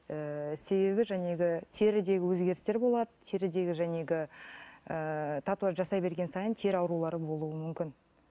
ыыы себебі теріде өзгерістер болады терідегі ыыы татуаж жасай берген сайын тері аурулары болуы мүмкін